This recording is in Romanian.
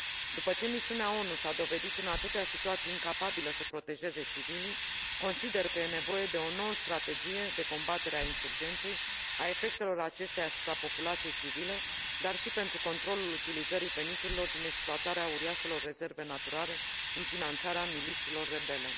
După ce misiunea ONU s a dovedit, în atâtea situații, incapabilă să protejeze civilii, consider că e nevoie de o nouă strategie de combatere a insurgenței, a efectelor acesteia asupra populației civile, dar și pentru controlul utilizării veniturilor din exploatarea uriașelor rezerve naturale în finanțarea milițiilor rebele.